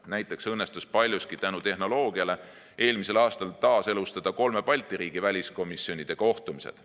Näiteks õnnestus paljuski tänu tehnoloogiale eelmisel aastal taaselustada kolme Balti riigi väliskomisjonide kohtumised.